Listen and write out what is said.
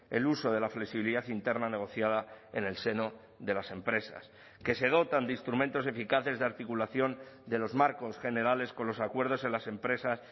el uso de la flexibilidad interna negociada en el seno de las empresas que se dotan de instrumentos eficaces de articulación de los marcos generales con los acuerdos en las empresas